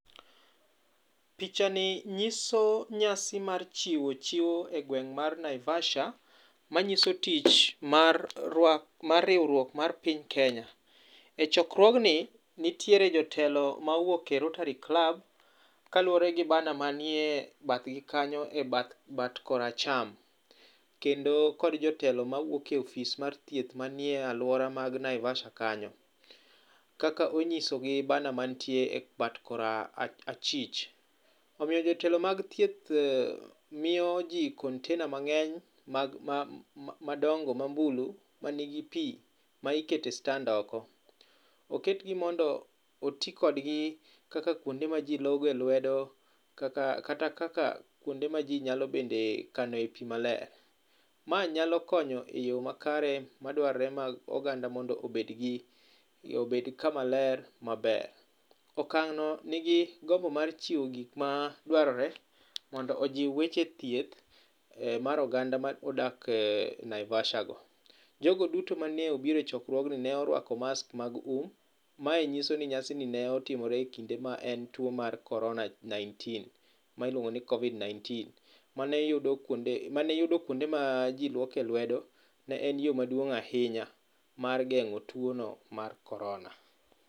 Pichani nyiso nyasi mar chiwo chiwo egweng' mar Naivasha manyiso tich mar rwak mar riwruok mar piny Kenya. E chokruogni nitiere jotelo mowuok e rotary club kaluwore gi bannae manie bathgi kanyo e bat bat koracham kendo kod jotelo mawuok e ofis mar thieth man e aluora mag Naivasha kanyo. Kaka onyiso gi banner man tie ebat korachich imiyo jotelo mag thieth miyo ji container mang'eny mag madongo mambulu manigi pi ma iketo e stand oko. Oketgi mondo oti kodgi kaka kuonde ma ji logoe lwedo kata kaka kuonde maji nyalo bende kanoe pi maler. Mae nyalo konyo eyo makare madwarre mag oganda mondo obed gi obed kama ler maber. Okang'no nigi gombo mar chiwo gik ma dwarore mondo ojiw weche thieth mar oganda modak e Naivasha go. Jogo duto mane obiro e chokruogno ne oruako masks mag um. Mae nyiso ni nyasini ne otimore ekinde tuo mar korona 19,ma iluongo ni covid-19 mane iyudo mane iyudo kuonde ma ji luoke lwedo. Ne en yo maduong' ahinya mar geng'o tuono mar korona.